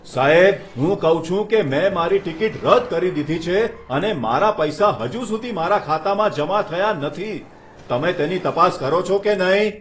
સાહેબ! હું કહું છું કે મેં મારી ટિકિટ રદ કરી દીધી છે અને પૈસા હજુ સુધી મારા ખાતામાં જમા થયા નથી. તમે તેની તપાસ કરો છો કે નહીં?